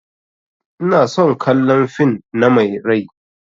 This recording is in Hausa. Ina son kallan fin na Mai rai.